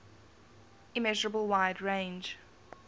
immeasurable wide range